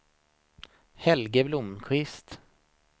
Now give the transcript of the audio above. Helge Blomkvist